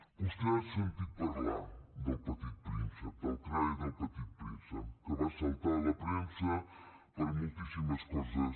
vostè ha sentit parlar del petit príncep del crae del petit príncep que va saltar a la premsa per moltíssimes coses